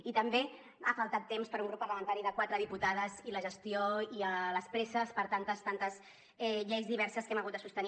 i també ha faltat temps per a un grup parlamentari de quatre diputades i per a la gestió i les presses per a tantes lleis diverses que hem hagut de sostenir